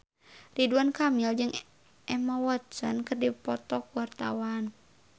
Ridwan Kamil jeung Emma Watson keur dipoto ku wartawan